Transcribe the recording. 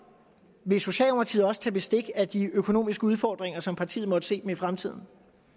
vil socialdemokratiet også tage bestik af de økonomiske udfordringer som partiet måtte se dem i fremtiden